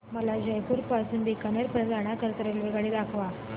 मला जयपुर पासून ते बीकानेर पर्यंत जाण्या करीता रेल्वेगाडी दाखवा